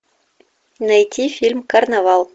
найти фильм карнавал